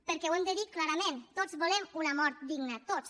perquè ho hem de dir clarament tots volem una mort digna tots